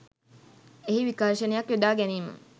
එහි විකර්ශනයක් යොදා ගැනීම